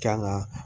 Kan ga